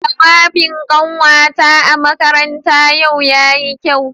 Jawabin kanwata a makaranta yau yayi kyau.